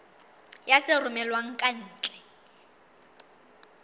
ya tse romellwang ka ntle